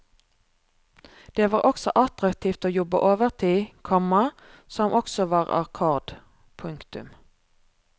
Det var også attraktivt å jobbe overtid, komma som også var akkord. punktum